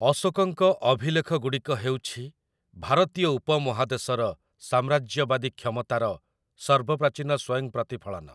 ଅଶୋକଙ୍କ ଅଭିଲେଖଗୁଡ଼ିକ ହେଉଛି ଭାରତୀୟ ଉପମହାଦେଶର ସାମ୍ରାଜ୍ୟବାଦୀ କ୍ଷମତାର ସର୍ବପ୍ରାଚୀନ ସ୍ୱୟଂ ପ୍ରତିଫଳନ ।